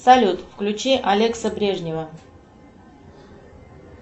салют включи алекса брежнева